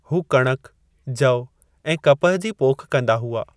हू कणिक, जव ऐं कपहि जी पोख कंदा हुआ।